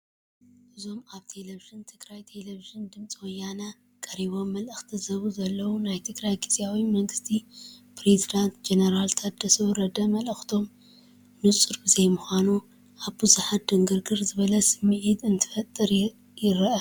እዞም ኣብ ቴሌብዥን ትግራይን ቴለብዥን ድምፂ ወያነን ቀሪቦም መልእኽቲ ዝህቡ ዘለዉ ናይ ትግራይ ግዚያዊ መንግስቲ ፕረዚደንት ጀነራል ታደሰ ወረደ መልእኽቶም ንፁር ብዘይምዃኑ ኣብ ብዙሓት ድንግርግር ዝበለ ስምዒት እንትፈጥር ይርአ፡፡